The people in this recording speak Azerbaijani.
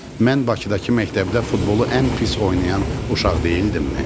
Mən Bakıdakı məktəbdə futbolu ən pis oynayan uşaq deyildimmi?